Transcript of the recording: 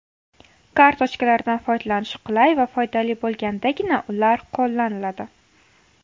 Kartochkalardan foydalanish qulay va foydali bo‘lgandagina, ular qo‘llaniladi.